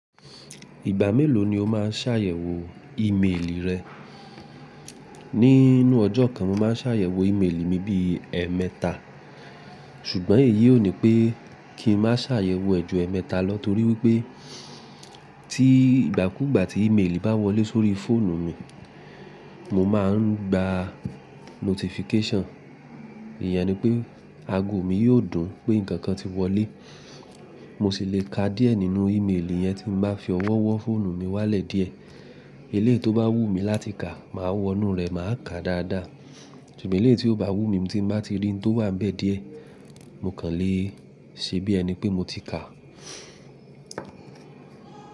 Ìgbà mélòó ni o máa ṣàyẹ̀wò ìméèlì rẹ? Níi nú ọjọ́ kan mo máa ṣàyẹ̀wò ìméèlì mi bí i ẹ́ẹ̀mẹta ṣùgbọ́n èyí ò ní pé kí ń má ṣàyẹ̀wò ẹ́ ju ẹ́ẹ̀mẹta lọ torí wípé tí ìgbàkúgbà tí ìméèlì bá wọlé sórí fóònù mi mo ma ń gba notification. Ìyẹn ni pé ago mi yóò dùn pé ǹkan kan ti wọlé. Mo sì le ka díẹ̀ nínú ìméèlì yẹn tí mo bá fi ọwọ́ wọ́ fóònù mi wálẹ̀ díẹ̀. Eléyìí tó bá wù mí láti ka màá wọnú rẹ̀ máa ka dáadáa ṣùgbọ́n eléyìí tí kò bá wù mí tí mo bá ti rí tó wà níbẹ̀ díẹ̀ mo kàn lé e ṣebí ẹni pé mo ti ka.